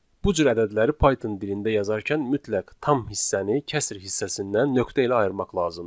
Bu cür ədədləri Python dilində yazarkən mütləq tam hissəni kəsr hissəsindən nöqtə ilə ayırmaq lazımdır.